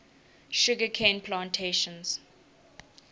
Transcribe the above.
sugar cane plantations